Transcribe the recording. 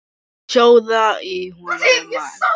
Sjóða í honum mann!